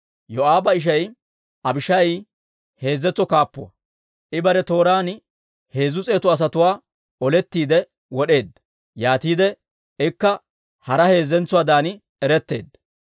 Yoo'aaba ishay Abishaayi heezatoo kaappuuwaa. I bare tooraan heezzu s'eetu asatuwaa olettiide wod'eedda. Yaatiide ikka hara heezzatuwaadan eretteedda.